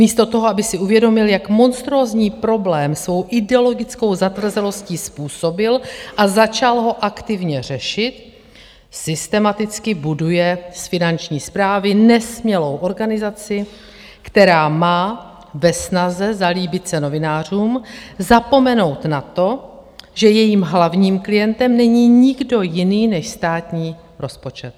Místo toho, aby si uvědomil, jak monstrózní problém svou ideologickou zatvrzelostí způsobil, a začal ho aktivně řešit, systematicky buduje z Finanční správy nesmělou organizaci, která má ve snaze zalíbit se novinářům zapomenout na to, že jejím hlavním klientem není nikdo jiný než státní rozpočet.